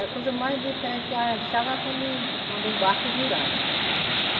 A coisa mais diferente que eu achava é quando em quando um barco virava.